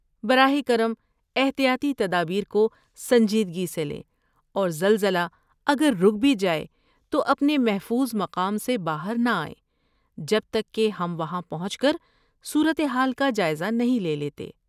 براہ کرم احتیاطی تدابیر کو سنجیدگی سے لیں اور زلزلہ اگر رک بھی جائے تو اپنے محفوظ مقام سے باہر نہ آئیں جب تک کہ ہم وہاں پہنچ کر صورت حال کا جائزہ نہیں لے لیتے۔